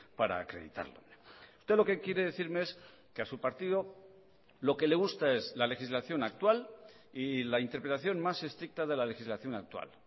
para acreditarlo usted lo que quiere decirme es que a su partido lo que le gusta es la legislación actual y la interpelación más estricta de la legislación actual